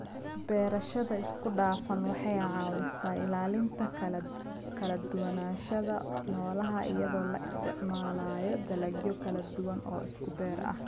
Beerashada isku dhafan waxay caawisaa ilaalinta kala duwanaanshaha noolaha iyadoo la isticmaalayo dalagyo kala duwan oo isku beer ah.